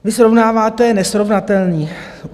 Vy srovnáváte nesrovnatelné.